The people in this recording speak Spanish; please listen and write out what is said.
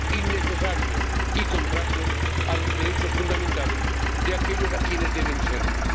innecesarios y contrarios a los derechos fundamentales de aquellos a quienes debe servir.